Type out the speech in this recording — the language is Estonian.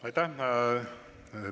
Aitäh!